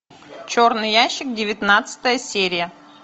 черный ящик девятнадцатая серия